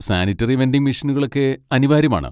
Sanitary vending മെഷീനുകളൊക്കെ അനിവാര്യമാണ്.